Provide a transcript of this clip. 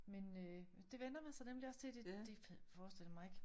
Men øh det vænner man sig nemlig også til det det forestillede jeg mig ikke